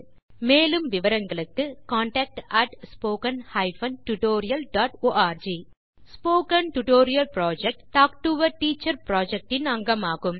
மேலும் விவரங்களுக்கு contactspoken tutorialorg spoken tutorial project talk to a teacher project இன் அங்கமாகும்